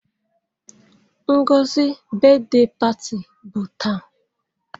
Ngozi brithday party bụ taa.